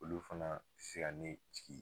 Olu fana se ka ne jigi